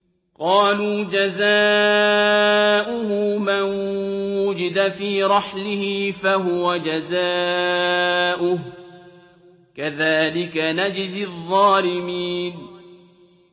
قَالُوا جَزَاؤُهُ مَن وُجِدَ فِي رَحْلِهِ فَهُوَ جَزَاؤُهُ ۚ كَذَٰلِكَ نَجْزِي الظَّالِمِينَ